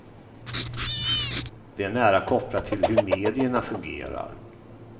Det är nära kopplat till hur medierna fungerar.